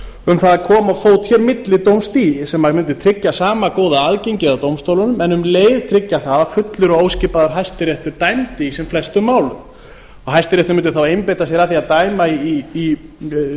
um það að koma á fót hér millidómstigi sem mundi tryggja sama góða aðgengið að dómstólunum en um leið tryggja það að fullur og óskiptur hæstiréttur dæmdi í sem flestum málum hæstiréttur mundi þá einbeita sér að því að dæma í